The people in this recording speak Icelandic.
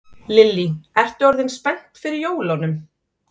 Lillý: Ertu orðin spennt fyrir jólunum?